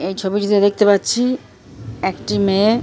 এই ছবিতে দেখতে পাচ্ছি একটি মেয়ে--